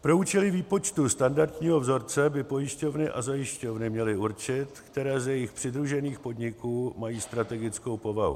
Pro účely výpočtu standardního vzorce by pojišťovny a zajišťovny měly určit, které z jejich přidružených podniků mají strategickou povahu.